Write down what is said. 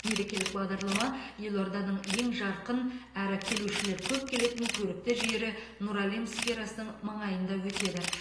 мерекелік бағдарлама елорданың ең жарқын әрі келушілер көп келетін көрікті жері нұр әлем сферасының маңайында өтеді